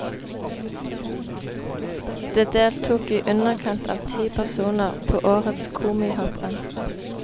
Det deltok i underkant av ti personer på årets komihopprenn.